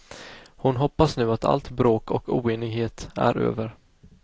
Hon hoppas nu att allt bråk och oenighet är över.